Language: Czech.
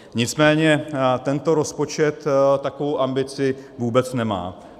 Nicméně tento rozpočet takovou ambici vůbec nemá.